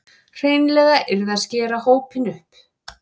Hreinlega yrði að skera hópinn upp